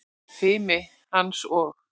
Fimi hans og